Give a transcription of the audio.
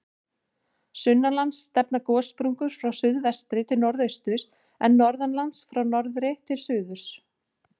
Sunnanlands stefna gossprungur frá suðvestri til norðausturs, en norðanlands frá norðri til suðurs.